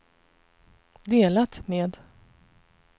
delat med